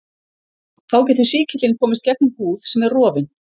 Þá getur sýkillinn komist gegnum húð sem er rofin.